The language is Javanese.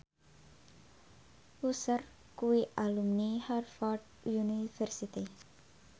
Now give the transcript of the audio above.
Usher kuwi alumni Harvard university